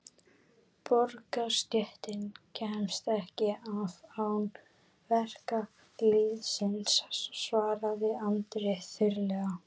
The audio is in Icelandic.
Borgarastéttin kemst ekki af án verkalýðsins, svaraði Andri þurrlega.